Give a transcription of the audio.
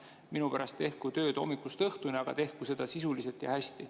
Minu pärast tehku tööd hommikust õhtuni, aga tehku seda sisuliselt ja hästi.